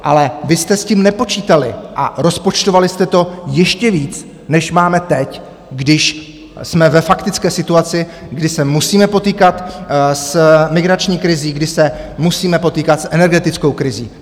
Ale vy jste s tím nepočítali a rozpočtovali jste to ještě víc, než máme teď, když jsme ve faktické situaci, kdy se musíme potýkat s migrační krizí, kdy se musíme potýkat s energetickou krizí.